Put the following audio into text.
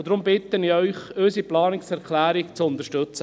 Deshalb bitte ich Sie, unsere Planungserklärung zu unterstützen.